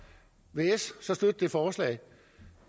vil s så støtte det forslag